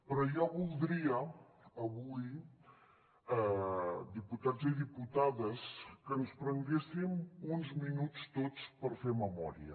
però jo voldria avui diputats i diputades que ens prenguéssim uns minuts tots per fer memòria